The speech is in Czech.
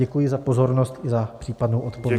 Děkuji za pozornost i za případnou odpověď.